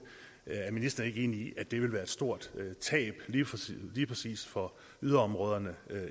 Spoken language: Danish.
er ministeren ikke enig i at det vil være et stort tab lige præcis for yderområderne